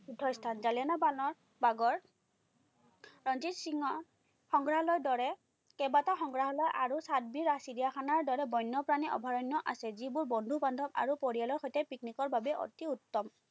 তীৰ্থস্থান। জালিৱানাবাগৰ ৰঞ্জিত সিঙৰ সংগ্ৰালয়ৰ দৰে কেইবাটাও সংগ্ৰাহালয় আৰু চাতবিৰিয়া চিৰিয়াখানাৰ দৰে বন্যপ্ৰাণী অভায়ৰণ্য আছে, যিবোৰ বন্ধু-বান্ধৱ আৰু পৰিয়ালৰ সৈতে পিকনিকৰ বাবে অতি উত্তম।